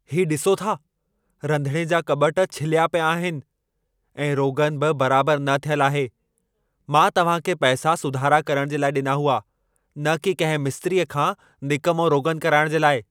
हीउ ॾिसो था, रधिणे जा कॿट छिलिया पिया आहिनि ऐं रोग़न बि बराबर न थियल आहे। मां तव्हां खे पैसा सुधारा करण जे लाइ ॾिना हुआ, न कि कंहिं मिस्त्रीअ खां निकमो रोगन कराइण जे लाइ।